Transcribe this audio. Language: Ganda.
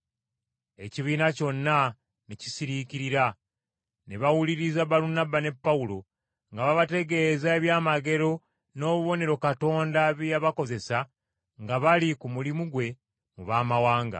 Ekibiina kyonna ne kisiriikirira ne bawuliriza Balunabba ne Pawulo nga babategeeza eby’amagero n’obubonero Katonda bye yabakozesa nga bali ku mulimu gwe mu baamawanga.